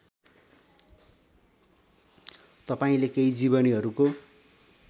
तपाईँले केही जिवनीहरूको